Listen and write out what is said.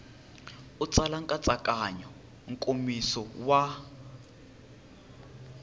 u tsala nkatsakanyo nkomiso wa